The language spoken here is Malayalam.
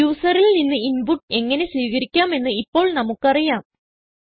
യൂസറിൽ നിന്ന് ഇൻപുട്ട് എങ്ങനെ സ്വീകരിക്കാം എന്ന് ഇപ്പോൾ നമുക്ക് അറിയാം